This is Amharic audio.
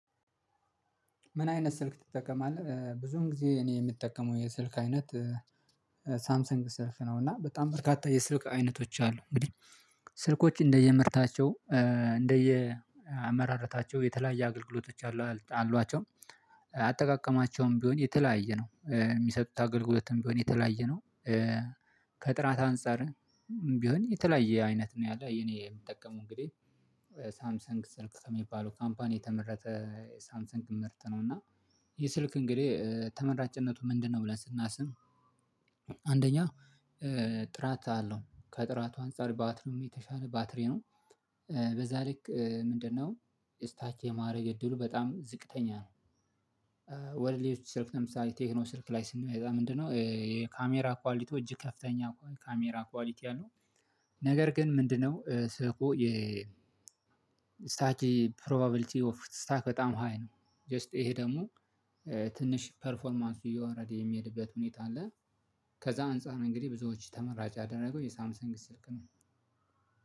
ምን? አይነት ስልክ ትጠቀማለህ ብዙን ጊዜ እኔ የምጠቀመው የስልክ አይነት ሳምሰንግ ሰልፍ ነው እና በጣም በርካታ የስልክ አይነቶች አሉ እንግዲህ ስልኮች እንደየምርታቸው እንደየ አመራረታቸው የተለያየ አገልግሎቶች አሏቸው አጠቃቀማቸውም ቢሆን የተለያየ ነው የሚሰጡት አገልግሎትም ቢሆን የተለያየ ነው። ከጥራት አንፃርም ቢሆን የተለያየ አይነት ነው ያለው የኔ የምጠቀመው እንግዲህ ሳምሰንግ ስልክ ከሚባለው ካምፓኒ የተመረተ ሳምሰንግ ምርት ነው። እና ይህ ስልክ እንግዲህ ተመራጭነቱ ምንድነው? ብለን ስናስብ አንደኛ ጥራት አለው ከጥራቱ አንፃር ባትሪውም የተሻለ ባትሬ ነው። በዛ ልክ ምንድነው? ስታች የማድረግ እድሉ በጣም ዝቅተኛ ነው። ወደ ሌሎዎች ስልክ ለምሳሌ ቴክኖ ስልክ ላይ ስንመጣ ምንድነው? የካሜራ ኳሊቲዎች እጅግ ከፍተኛ ካሜራ ኳሊቲ አለው። ነገር ግን ምንድነው? ስልኩ የ ስታክ ፕሮባቢሊቲ ኦፍ ስታክ በጣም ሃይ ነው ጀስት ይሄ ደግሞ ትንሽ ፐርፎርማንስ እየወረደ የሚሄድበት ሁኔታ አለ። ከዛ አንፃር እንግዲህ ብዙዎች ተመራጭ ያደረገው የሳምሰንግ ስልክ ነው።